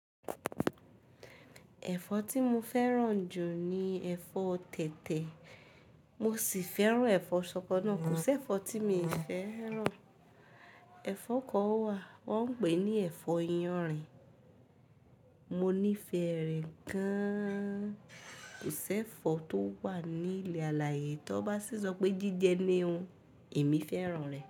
Ẹ̀fọ́ tí mo fẹ́ràn jù ni ẹ̀fọ́ tẹ̀tẹ̀, mo sì fẹ́ràn ẹ̀fọ́ ṣọkọ náà. Kò sí ẹ̀fọ́ tí mi ò fẹ́ràn. Ẹ̀fọ́ kan wà, wọ́n ń pè ní ẹ̀fọ́ yanrìn, mo nífẹ̀ẹ́ rẹ̀ gan-an. Kò sí ẹ̀fọ́ tó wà ní ilẹ̀ alààyè tí wọ́n bá sì sọ pé jíjẹ ni o, èmi fẹ́ràn rẹ̀.